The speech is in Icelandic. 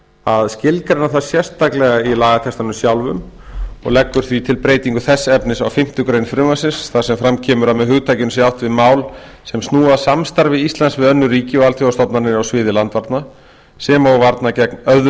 að skilgreina það sérstaklega í lagatextanum sjálfum og leggur því til breytingu þess efnis á fimmtu grein frumvarpsins þar sem fram kemur að með hugtakinu sé átt við mál sem snúa að samstarfi íslands við önnur ríki og alþjóðastofnanir á sviði landvarna sem og varna gegn öðrum